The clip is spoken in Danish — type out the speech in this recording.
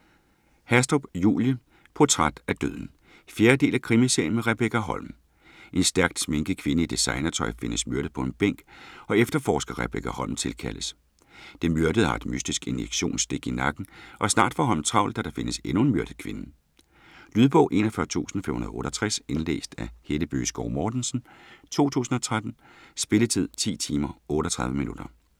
Hastrup, Julie: Portræt af døden 4. del af krimiserien med Rebekka Holm. En stærkt sminket kvinde i designertøj findes myrdet på en bænk og efterforsker Rebekka Holm tilkaldes. Den myrdede har et mystisk injektionsstik i nakken og snart får Holm travlt, da der findes endnu en myrdet kvinde. Lydbog 41568 Indlæst af Helle Bøgeskov Mortensen, 2013. Spilletid: 10 timer, 38 minutter.